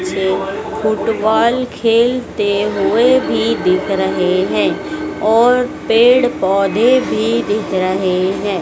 Football खेलते हुए भी दिख रहे है और पेड़ पौधे भी दिख रहे है।